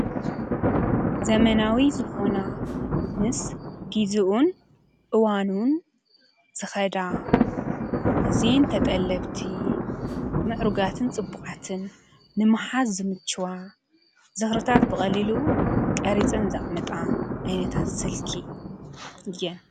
ዘመናዊ ዝኮና ምስ ግዚኡን እዋኑን ዝከዳ ኣዝየን ተጠለብቲ ምዕሩጋትን ፅቡቃትን ንምሓዝ ዝምሓዝ ዝምችዋ ዝክርታት ብቀሊሉ ቀርፀን ዘቅምጣ ዓይነት ስልኪ እየን።